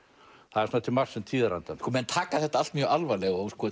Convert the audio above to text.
það er svona til marks um tíðarandann menn taka þetta allt mjög alvarlega og